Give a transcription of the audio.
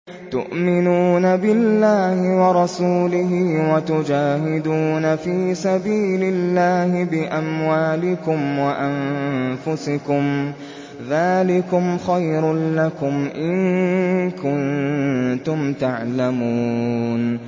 تُؤْمِنُونَ بِاللَّهِ وَرَسُولِهِ وَتُجَاهِدُونَ فِي سَبِيلِ اللَّهِ بِأَمْوَالِكُمْ وَأَنفُسِكُمْ ۚ ذَٰلِكُمْ خَيْرٌ لَّكُمْ إِن كُنتُمْ تَعْلَمُونَ